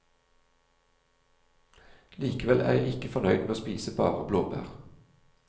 Likevel er jeg ikke fornøyd med å spise bare blåbær.